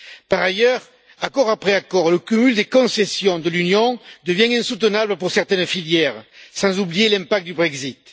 Par ailleurs, accord après accord, le cumul des concessions de l'Union devient insoutenable pour certaines filières, sans oublier les répercussions du Brexit.